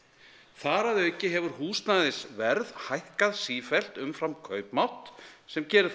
þar að auki hefur húsnæðisverð hækkað sífellt umfram kaupmátt sem gerir það